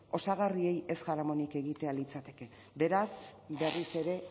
osagarriei ez jaramonik ez egitea litzateke beraz berriz ere